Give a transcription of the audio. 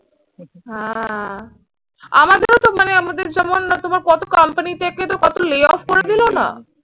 হ্যাঁ আমাদেরও তো মানে আমাদের যেমন না তোমার কত কোম্পানির থেকে তো কত layoff করে দিল না।